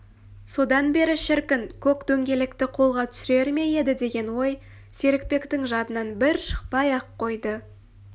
содан бері шіркін көк дөңгелекті қолға түсірер ме еді деген ой серікбектің жадынан бір шықпай-ақ қойды